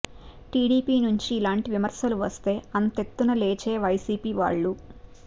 TDP నుంచి ఇలాంటి విమర్శలు వస్తే అంతెత్తున లేచే వైసీపీ వాళ్లు